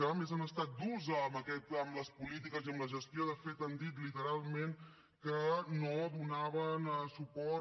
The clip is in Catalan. a més han estat durs amb les polítiques i amb la gestió de fet han dit literalment que no donaven suport